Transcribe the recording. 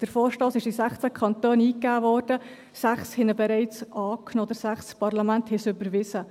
Der Vorstoss wurde in 16 Kantonen eingegeben, 6 haben ihn bereits angenommen, oder 6 Parlamente haben ihn bereits überwiesen.